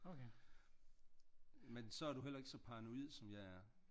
Men så er du heller ikke som paranoid som jeg er